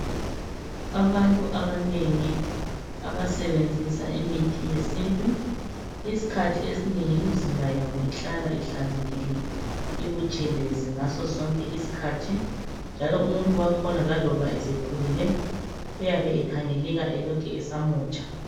Abantu abanengi abasebenzisa imithi yesintu isikhathi esinengi imizimba yabo ihlala ihlanzekile ibutshelezi ngaso sonke isikhathi njalo umuntu wakhona laloba esekhulile uyabe ekhangeleka elokhe esamutsha.